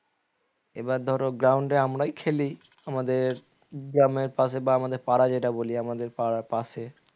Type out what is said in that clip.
এবার ধরো ground এ আমরাই খেলি আমাদের গ্রামের পাশে বা আমাদের পাড়া যেটা বলি আমাদের পাড়ার পাশে